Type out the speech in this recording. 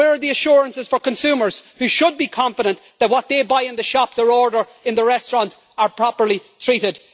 Where are the assurances for consumers who should be confident that what they buy in the shops or order in the restaurants is properly treated?